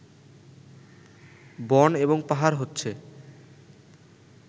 বন এবং পাহাড় হচ্ছে